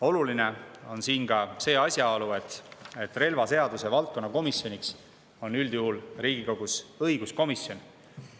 Oluline on siin ka asjaolu, et relvaseaduse valdkonna komisjoniks Riigikogus on üldjuhul õiguskomisjon.